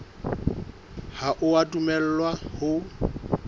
ha o a dumellwa ho